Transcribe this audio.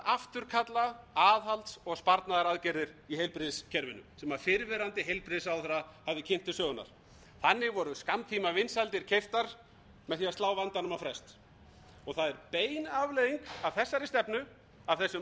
afturkalla aðhalds og sparnaðaraðgerðir í heilbrigðiskerfinu sem fyrrverandi heilbrigðisráðherra hafði kynnt til sögunnar þannig voru skammtímavinsældir keyptar með því að slá vandanum á frest það er bein afleiðing af þessari stefnu af þessum aðgerðum